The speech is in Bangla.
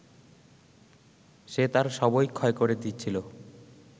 সে তার সবই ক্ষয় করে দিচ্ছিল